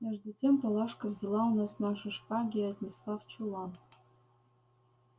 между тем палашка взяла у нас наши шпаги и отнесла в чулан